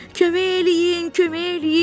Kömək eləyin, kömək eləyin!